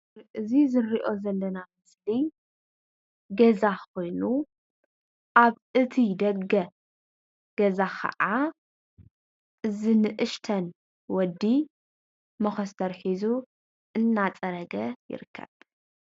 እዚ እንሪኦ ዘለና ምስሊ ገዛ ኮይኑ አብ እቲ ደገ ገዛ ካዓ እዚ ንእሽተይ ወዲ መኮስተር ሒዙ እናፀረገ ይርከብ፡፡